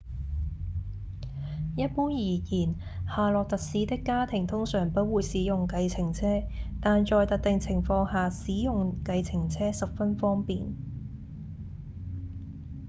一般而言夏洛特市的家庭通常不會使用計程車但在特定情況下使用計程車十分方便